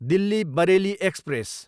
Delhi, Bareilly express